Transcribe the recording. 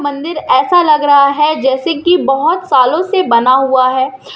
मंदिर ऐसा लगा रहा है जैसे की बहोत सालों से बना हुआ है।